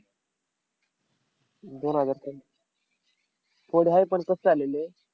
दोन हजार कोण आहे पण कसं आलेले?